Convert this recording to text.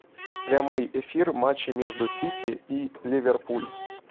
прямой эфир матча между сити и ливерпуль